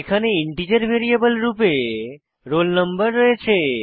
এখানে integer variable রূপে roll no রয়েছে